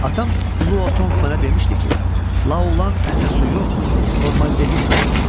Atam Lu Tonq mənə demişdi ki, La Olan ətə su yox, formaldehid vurur.